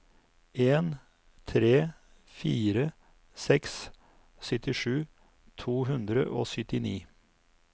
en tre fire seks syttisju to hundre og syttini